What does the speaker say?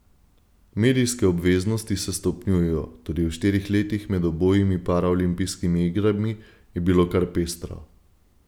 Medijske obveznosti se stopnjujejo, tudi v štirih letih med obojimi paraolimpijskimi igrami je bilo kar pestro.